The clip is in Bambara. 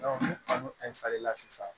ni an y'o sisan